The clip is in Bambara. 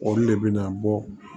Olu de bɛ na bɔ